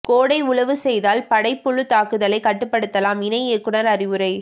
கோடை உழவு செய்தால் படைப்புழு தாக்குதலை கட்டுப்படுத்தலாம் இணை இயக்குநர் அறிவுரை